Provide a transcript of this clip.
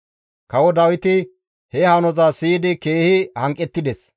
Kawo Dawiti he hanoza siyidi keehi hanqettides;